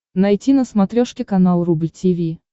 найти на смотрешке канал рубль ти ви